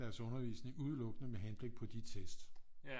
Deres undervisning udelukkende men henblik på de tests